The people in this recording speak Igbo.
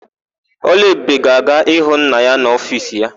Ọlụebube ga-aga ịhụ nna ya n'ofiisi ya.